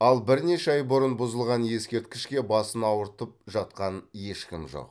ал бірнеше ай бұрын бұзылған ескерткішке басын ауыртып жатқан ешкім жоқ